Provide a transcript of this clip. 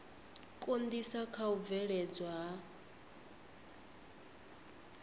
konḓisa kha u bveledzwa ha